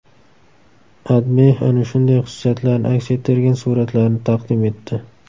AdMe ana shunday xususiyatlarni aks ettirgan suratlarni taqdim etdi .